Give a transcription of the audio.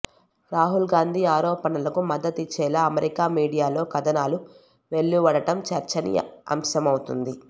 రాహుల్ గాంధీ ఆరోపణలకు మద్దతిచ్చేలా అమెరికా మీడియాలో కథనాలు వెలువడటం చర్చనీయాంశమవుతోంది